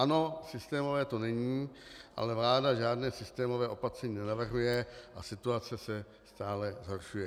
Ano, systémové to není, ale vláda žádné systémové opatření nenavrhuje a situace se stále zhoršuje.